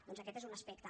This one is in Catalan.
doncs aquest és un aspecte